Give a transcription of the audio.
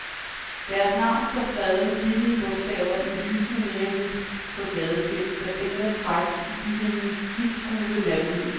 Deres navn står skrevet med billige bogstaver i lysende neonhvidt på et gadeskilt, der dingler frækt i byhimlens giftgule nattelys.